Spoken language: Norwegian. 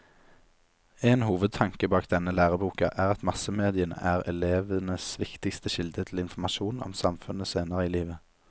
En hovedtanke bak denne læreboka er at massemediene er elevenes viktigste kilde til informasjon om samfunnet senere i livet.